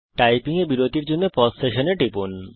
typing এর সময় বিরতির জন্য পাউস সেশন এ টিপুন